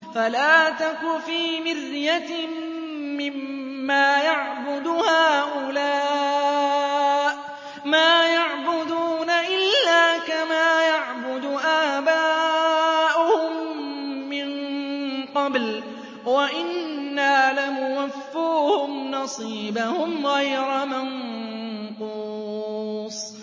فَلَا تَكُ فِي مِرْيَةٍ مِّمَّا يَعْبُدُ هَٰؤُلَاءِ ۚ مَا يَعْبُدُونَ إِلَّا كَمَا يَعْبُدُ آبَاؤُهُم مِّن قَبْلُ ۚ وَإِنَّا لَمُوَفُّوهُمْ نَصِيبَهُمْ غَيْرَ مَنقُوصٍ